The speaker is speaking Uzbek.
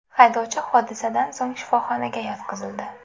Haydovchi hodisadan so‘ng shifoxonaga yotqizildi.